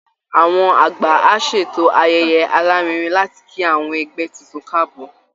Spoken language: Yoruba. Àwọn àgbà á ṣètò ayẹyẹ alárinrin láti kí àwọn ẹgbẹ́ tuntun káàbọ̀